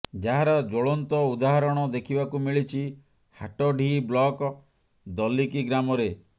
ଯାହାର ଜ୍ୱଳନ୍ତ ଉଦାହରଣ ଦେଖିବାକୁ ମିଳିଛି ହାଟଡିହି ବ୍ଲକ ଦଲିକି ଗ୍ରାମରେ